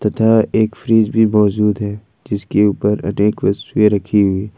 इधर एक फ्रिज भी मौजूद है जिसके ऊपर अनेक वस्तुएं रखी हुई--